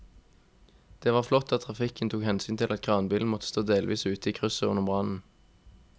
Det var flott at trafikken tok hensyn til at kranbilen måtte stå delvis ute i krysset under brannen.